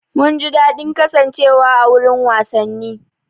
Mun ji daɗin kasancewa a wurin wasanni.